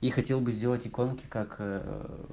и хотел бы сделать иконки как